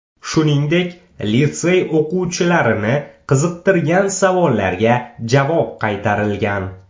Shuningdek, litsey o‘quvchilarini qiziqtirgan savollarga javob qaytarilgan.